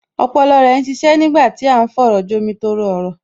Ọpọlọ rẹ ń ṣiṣẹ́ nígbà tí à ń fọ̀rọ̀jomi-tooro-ọ̀rọ̀